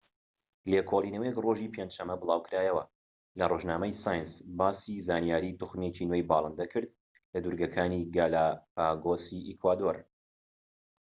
لێکۆڵینەوەیەک ڕۆژی پێنج شەمە بڵاوکرایەوە لە ڕۆژنامەی سایەنس باسی زانیاری توخمێکی نوێی باڵندە کرد لە دورگەکانی گالاپاگۆسی ئیکوادۆر